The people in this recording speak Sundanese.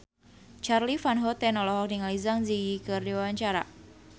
Charly Van Houten olohok ningali Zang Zi Yi keur diwawancara